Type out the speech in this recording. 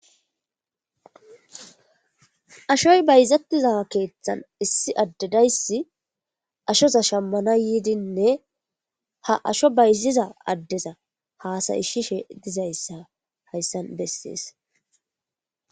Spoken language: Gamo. ashoy bayzattiza keeththan issi addedayssi ashoza shammana yiidinne ha asho bayziza addeza haasayishishe dizayssa hayssan bessees